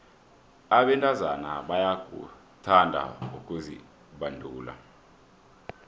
abentazana bayakuthanda ukuzibandula